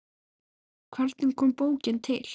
Hvernig kom bókin til?